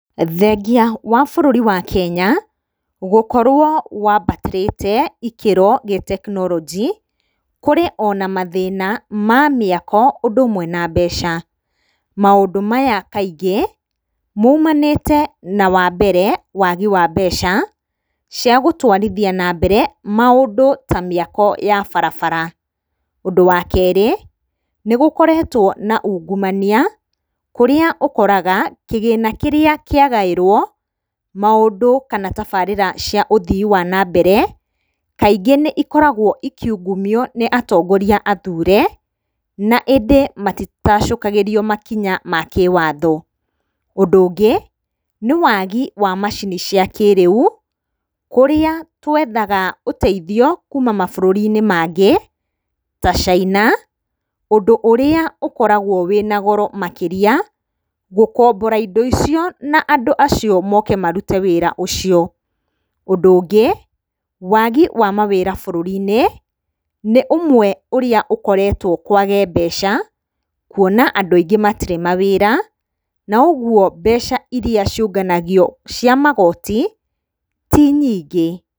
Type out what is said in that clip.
Thengia wa bũrũri wa Kenya gũkorwo wambatĩrĩte ikĩro gĩtekinoronjĩ, kũrĩ na mathĩna ma mĩako ũndũ ũmwe na mbeca. Maũndũ maya kaingĩ maumanĩte na wambere waagi wa mbeca cia gũtwarithia na mbere maũndũ ta mĩako ya barabara. Ũndũ wa kerĩ nĩgũkoretwo na ũngumania kũrĩa ũkoraga kĩgĩna kĩrĩa kĩagaĩirwo maũndũ kana tabarĩra cia ũthii wa na mbere kaingĩ nĩikoragwo ikiungumio nĩ atongoria athure na ĩndĩ matitacũkagĩrio makinya ma kĩwatho. Ũndũ ũngĩ nĩ waagi wa macini cia kĩrĩu kũrĩa twethaga ũteithio kuma mabũrũri-inĩ mangĩ ta China ũndũ ũrĩa ũkoragwo wĩna goro makĩria, gũkombora indo icio na andũ acio moke marute wĩra ũcio. Ũndũ ũngĩ waagi wa mawĩra bũrũri-inĩ nĩ ũmwe ũrĩa ũkoretwo kwage mbeca kuona andũ aingĩ matirĩ mawĩra na ũguo mbeca iria ciũnganagio cia magoti ti nyingĩ.